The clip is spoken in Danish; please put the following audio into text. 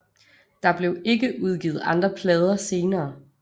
Der blev ikke udgivet andre plader senere